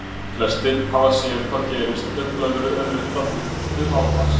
Flestir hafa séð hvað gerist ef blöðru er nuddað upp við hár manns.